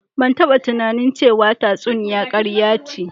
Ban taba tunanin ce wa tsatsuniya karya ce